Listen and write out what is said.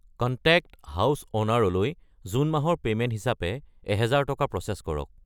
Contact ঘৰৰ মালিক লৈ জুন মাহৰ পে'মেণ্ট হিচাপে 1000 টকা প্ৰ'চেছ কৰক।